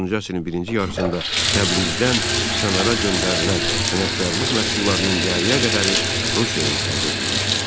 19-cu əsrin birinci yarısında Təbrizdən kənara göndərilən sənətkarlıq məhsullarının yarıya qədəri Rusiyaya ixrac edilmişdi.